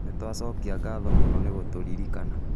Nĩ twacokia ngatho mũno nĩ gũtũririkana